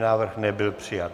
Návrh nebyl přijat.